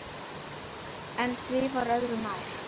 En því var öðru nær.